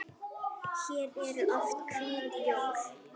Hér eru oft hvít jól.